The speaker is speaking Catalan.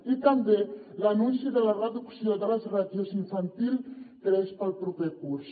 i també l’anunci de la reducció de les ràtios a infantil tres pel proper curs